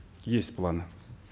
есть планы